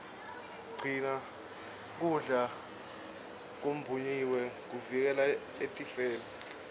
gcina kudla kumbonyiwe kutivikela etifeni